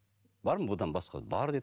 бар ма бұдан басқа бар деді